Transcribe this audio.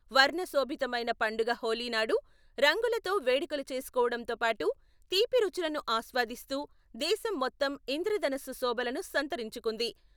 వర్ణ శోభితమైన పండుగ హోలీ నాడు రంగులతో వేడుకలు చేసుకోవడంతో పాటు, తీపి రుచులను ఆస్వాదిస్తూ దేశం మొత్తం ఇంద్రధనస్సు శోభలను సంతరించుకుంది.